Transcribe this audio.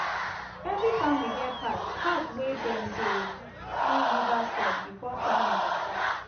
every familly get part part wey dem dey do to clean river side before farming go start